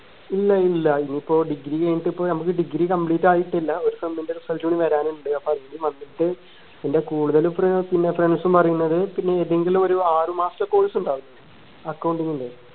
ഇല്ലയില്ല ഇനിപ്പോ degree കൈനിട്ട് ഇപ്പോ നമുക്ക് degree complete ആയിട്ടില്ല ഒരു sem ന്റെ result കൂടി വരാൻ ഉണ്ട് അപ്പോ അതിന്റെം വന്നിട്ട് ഇന്റെ കൂടുതലും ഫ്രണ്ട് പിന്നെ ഫ്രണ്ട്സും പറയുന്നത് പിന്നെ ഏതെങ്കിലും ഒരു ആറു മാസത്തെ course ഉണ്ടാവൂലെ accounting ൻറെ